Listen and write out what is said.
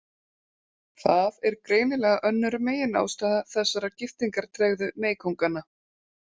Það er greinilega önnur meginástæða þessarar giftingartregðu meykónganna.